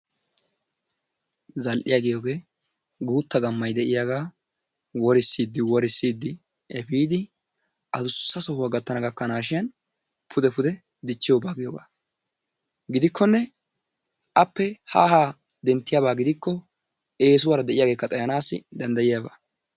Zal''iya giigiyogee guutta gammay de'iyaaga worssidi worssidi efiidi addusa sohuwaa gattana gakkanashin pude pude dichchiyooga giyooga. Gidikkonne appe ha ha denttiyaaba gidikko eessuwaara de'iyaagekka xayyanassi danddayiyyaaba.